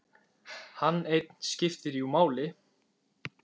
Hann einn skipti jú máli.